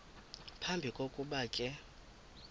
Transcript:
phambi kokuba ke